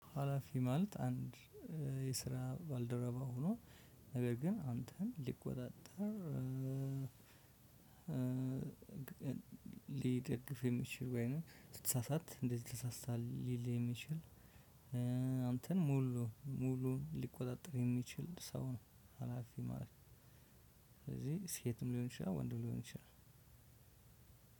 ሀላፊ ማለት አንድ የስራ ባልደረባ ሆኖ ነገር ግን አንተን ሊቆጣጠር ሊደግፍ የሚችል ወይንም ስትሳሳት እንደዚህ ተሳስተሀል ሊል የሚችል አንተን ሙሉ ሙሉ ሊቆጣጠር የሚችል ሰው ነው ሀላፊህ ማለት ነው። ስለዚህ ሴትም ሊሆን ይችላል ወንድም ሊሆን ይችላል።